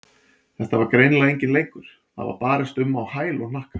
Þetta var greinilega enginn leikur, það var barist um á hæl og hnakka.